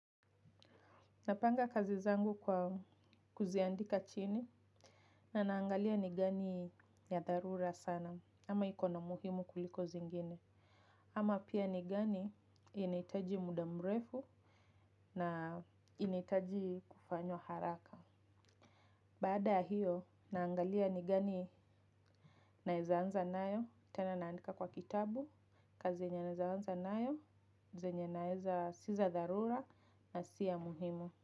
Napanga kazi zangu kwa kuziandika chini na naangalia ni gani ya dharura sana ama iko na umuhimu kuliko zingine. Ama pia ni gani inahitaji muda mrefu na inahitaji kufanywa haraka. Baada ya hiyo naangalia ni gani naweza anza nayo tena naandika kwa kitabu kazi yenye naweza anza nayo zenye naweza si za dharura na si ya muhimu.